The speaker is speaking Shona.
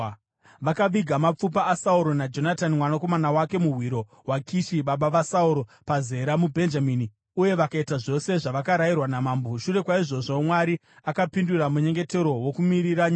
Vakaviga mapfupa aSauro naJonatani mwanakomana wake muhwiro hwaKishi baba vaSauro, paZera muBhenjamini, uye vakaita zvose zvavakarayirwa namambo. Shure kwaizvozvo, Mwari akapindura munyengetero wokumiririra nyika.